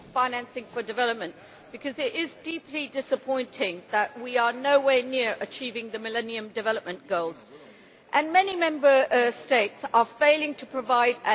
Madam President, it is deeply disappointing that we are nowhere near achieving the Millennium Development Goals, and many Member States are failing to provide as little as